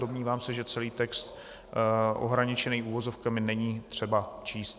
Domnívám se, že celý text ohraničený uvozovkami není třeba číst.